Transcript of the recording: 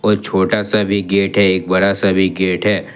और छोटा सा भी गेट हैं एक बड़ा सा भी गेट हैं।